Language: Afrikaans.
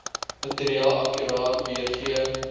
materiaal akkuraat weergee